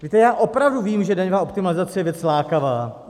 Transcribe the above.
Víte, já opravdu vím, že daňová optimalizace je věc lákavá.